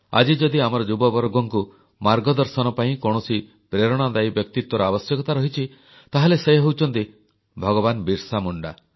ଆଜି ଯଦି ଆମର ଯୁବବର୍ଗଙ୍କୁ ମାର୍ଗଦର୍ଶନ ପାଇଁ କୌଣସି ପ୍ରେରଣାଦାୟୀ ବ୍ୟକ୍ତିତ୍ୱର ଆବଶ୍ୟକତା ରହିଛି ତାହେଲେ ସେ ହେଉଛନ୍ତି ଭଗବାନ ବିର୍ସା ମୁଣ୍ଡା